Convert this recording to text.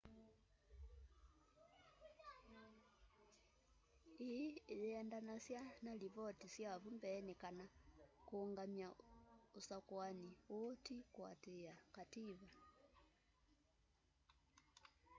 ii ĩyendanasya na lipotĩ sya vu mbee kana kũngamya usakũani uu tĩ kuatĩia kativa